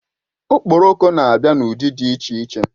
Okporoko na-abịa n'ụdị dị iche iche